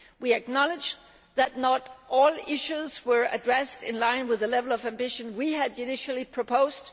We acknowledge that not all issues were addressed in line with the level of ambition we had initially proposed.